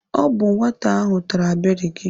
Ọ bụ nwata ahụ tara beri gị.